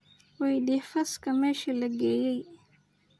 Weydix fazka meshi lageye.